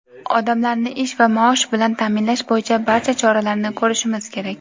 Odamlarni ish va maosh bilan ta’minlash bo‘yicha barcha choralarni ko‘rishimiz kerak.